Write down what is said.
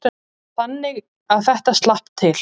Þannig að þetta slapp til.